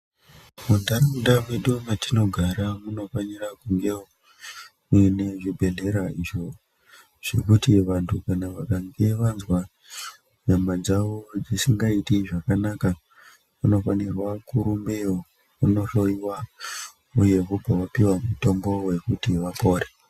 Mundaraunda mwedu matinogara munofanira kungewo muine zvibhohlera izvo zvekuti vandu vakange vazwa nyama dzavo dzisingaiti zvakanaka vanofanhirwa kurumbeyo kunohloyiwa uye vobva vapuwa mutombo wekuti vapore